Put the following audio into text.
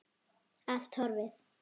Allt horfið.